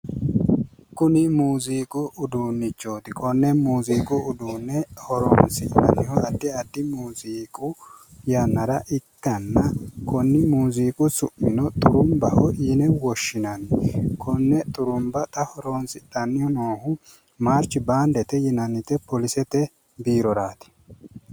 Kuni muuziiqu uduunichote Konne muziiqu uduunne horoonsi'nannihu addi addi muziiqu yannara ikkanna konni muziiqu su'mino xurunbaho yine woshinnanni konne xurunba xa haroonsidhanni noohu marshi baandete yinnannite polisete biiroraati.